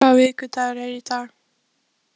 Sabrína, hvaða vikudagur er í dag?